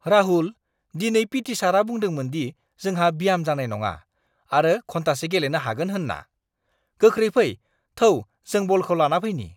राहुल! दिनै पिटि सारआ बुंदोंमोन दि जोंहा ब्याम जानाय नङा आरो घन्टासे गेलेनो हागोन होन्ना! गोख्रै फै, थौ जों बलखौ लाना फैनि!